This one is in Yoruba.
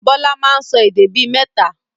Bọlá máa ń sọ èdè bí mẹ́ta